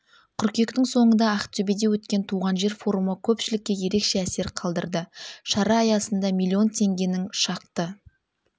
қыркүйектің соңында ақтөбеде өткен туған жер форумы көпшілікке ерекше әсер қалдырды шара аясында миллион теңгенің шақты